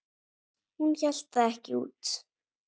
Hún hélt það ekki út!